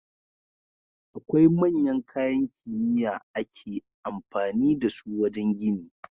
Akwai manyan kayan kimiya ake amfani da su wajan gini